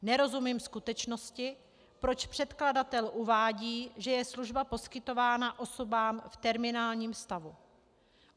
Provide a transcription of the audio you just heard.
Nerozumím skutečnosti, proč předkladatel uvádí, že je služba poskytována osobám v terminálním stavu.